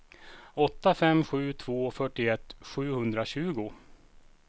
åtta fem sju två fyrtioett sjuhundratjugo